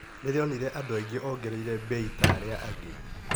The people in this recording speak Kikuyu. Rĩra onire andũ aingĩ ongereire bei ta arĩa angĩ